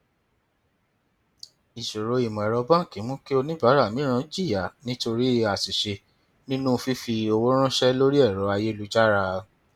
ìṣòro ìmọẹrọ báńkì mú kí oníbàárà mìíràn jìyà nítorí àṣìṣe nínú fífi owó ránṣẹ lórí ẹrọ ayélujára